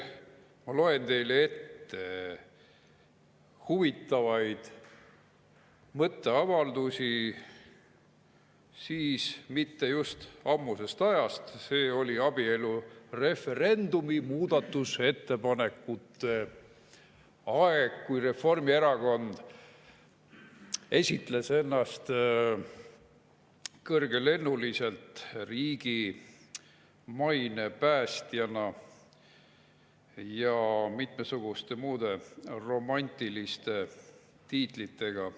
Ma loen teile ette huvitavaid mõtteavaldusi mitte just ammusest ajast, see oli abielureferendumi muudatusettepanekute aeg, kui Reformierakond esitles ennast kõrgelennuliselt riigi maine päästjana ja mitmesuguste muude romantiliste tiitlitega.